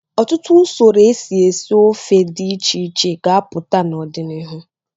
Ọtụtụ usoro esi esi ofe dị iche iche ga-apụta n'ọdịnihu.